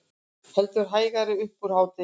Heldur hægari upp úr hádegi